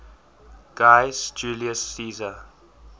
gaius julius caesar